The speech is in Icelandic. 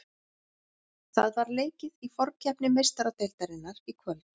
Það var leikið í forkeppni Meistaradeildarinnar í kvöld.